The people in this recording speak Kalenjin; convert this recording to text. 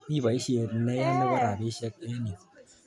Mi poisyet neya nepo rapisyek eng' yu.